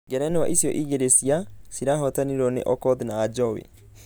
Ngerenwa icio igĩrĩ cia ....cirahotirwo nĩ okoth na ajowi.